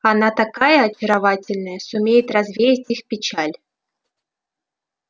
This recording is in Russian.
она такая очаровательная сумеет развеять их печаль